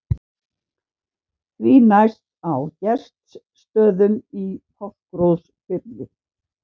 Því næst á Gestsstöðum í Fáskrúðsfirði.